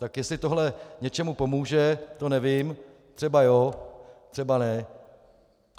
Tak jestli tohle něčemu pomůže, to nevím, třeba jo, třeba ne.